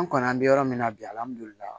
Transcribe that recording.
An kɔni an bɛ yɔrɔ min na bi hali